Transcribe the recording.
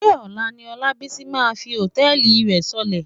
Ṣé ọ̀la ni Ọlábísí máa fi hòtẹ́ẹ̀lì rẹ sọlẹ̀?